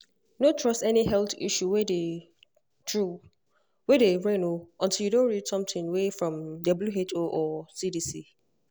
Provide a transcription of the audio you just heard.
no trust any health issue way dey true way dey reign o untill you don read something way from who or cdc.